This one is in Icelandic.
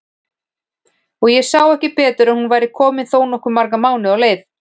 Og ég sá ekki betur en hún væri komin þó nokkuð marga mánuði á leið!